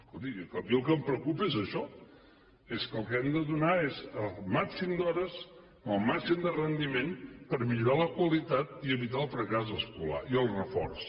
escolti a mi el que em preocupa és això és que el que hem de donar és el màxim d’hores amb el màxim de rendiment per a millorar la qualitat i evitar el fracàs escolar i el reforç